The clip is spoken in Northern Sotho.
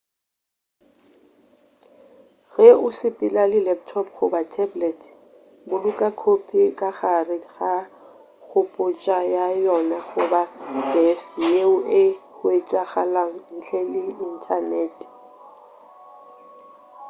ge o sepela le laptop goba tablet boloka khopi ka gare ga kgopotša ya yona goba deski yeo e hwetšagalago ntle le inthanete